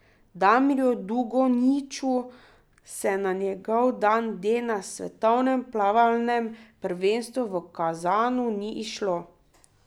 Damirju Dugonjiću se na njegov dan D na svetovnem plavalnem prvenstvu v Kazanu ni izšlo.